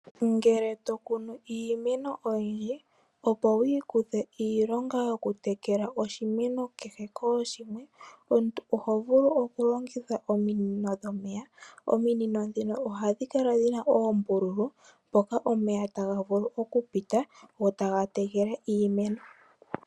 Ngele to kunu iimeno oyindji, opo wu ikuthe iilonga yokutekela oshimeno kehe kooshimwe, omuntu oho vulu okulongitha ominino dhomeya, ominino dhino ohadhi kala dhina oombululu mpoka omeya taga vulu okupita gotaga tekele iimeno.